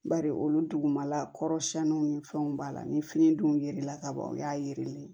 Bari olu dugumala kɔrɔ siɲɛniw ni fɛnw b'a la ni fini dun yer'a kaban u y'a yelen